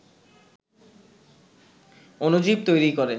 অণুজীব তৈরি করে